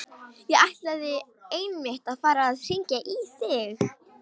Ég ætlaði einmitt að fara að hringja í þig.